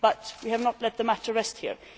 We have not let the matter rest here.